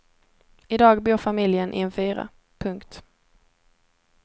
I dag bor familjen i en fyra. punkt